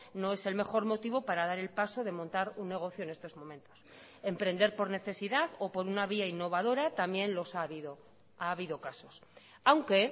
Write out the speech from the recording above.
no es el mejor motivo para dar el paso de montar un negocio en estos momentos emprender por necesidad o por una vía innovadora también los ha habido ha habido casos aunque